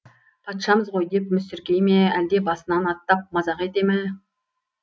патшамыз ғой деп мүсіркей ме әлде басынан аттап мазақ ете ме